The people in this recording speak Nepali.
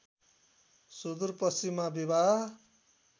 सुदूर पश्चिममा विवाह